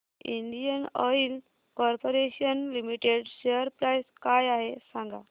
Indian Oil Corporation Limited share price काय आहे सांगा